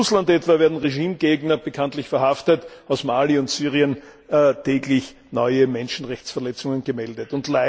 In Russland etwa werden Regimegegner bekanntlich verhaftet, aus Mali und Syrien täglich neue Menschenrechtsverletzungen gemeldet.